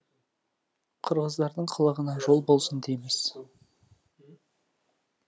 қырғыздардың қылығына жол болсын дейміз